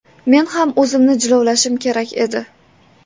Men ham o‘zimni jilovlashim kerak edi.